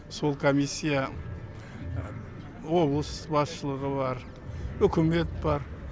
сол комиссия облыс басшылығы бар үкімет бар